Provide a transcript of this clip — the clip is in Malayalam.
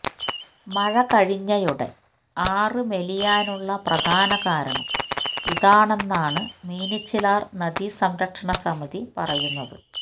മഴ കഴിഞ്ഞയുടൻ ആറ്് മെലിയാനുള്ള പ്രധാനകാരണം ഇതാണെന്നാണ് മീനച്ചിലാർ നദീസംരക്ഷണസമിതി പറയുന്നത്